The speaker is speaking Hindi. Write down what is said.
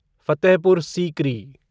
फ़तेहपुर सीकरी